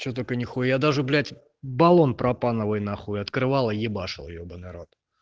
что только нехуя даже блять баллон пропановый н открывала ебашил ебанный рот